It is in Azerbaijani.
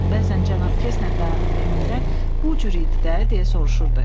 Bəzən cənab Kestner dayanıb Emildən "Bu cür idi də?" deyə soruşurdu.